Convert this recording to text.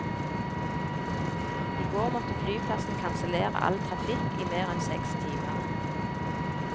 I går måtte flyplassen kansellere all trafikk i mer enn seks timer.